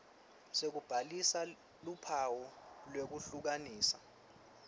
sekubhalisa luphawu lwekuhlukanisa